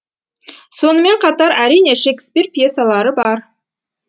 сонымен қатар әрине шекспир пьесалары бар